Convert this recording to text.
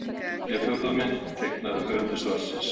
Þriðja og fjórða mynd: Teiknaðar af höfundi svarsins.